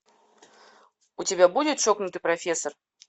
у тебя будет чокнутый профессор